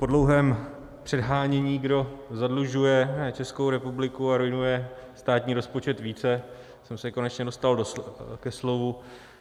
Po dlouhém předhánění, kdo zadlužuje Českou republiku a ruinuje státní rozpočet více, jsem se konečně dostal ke slovu.